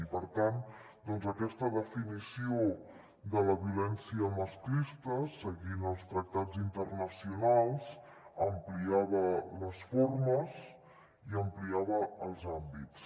i per tant aquesta definició de la violència masclista seguint els tractats internacionals ampliava les formes i ampliava els àmbits